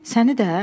Səni də?